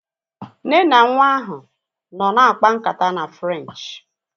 Nne na nwa ahu nọ na-akpa nkata na Frenchi